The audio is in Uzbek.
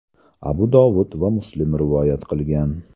Abu Dovud va Muslim rivoyat qilgan.